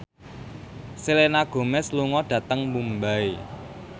Selena Gomez lunga dhateng Mumbai